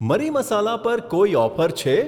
મરી મસાલા પર કોઈ ઓફર છે?